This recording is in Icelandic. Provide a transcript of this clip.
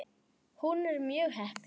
Hún er mjög heppin.